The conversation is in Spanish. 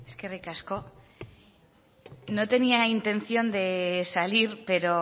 eskerrik asko no tenía intención de salir pero